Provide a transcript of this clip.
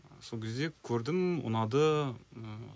сол кезде көрдім ұнады ыыы